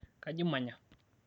kaji imanya?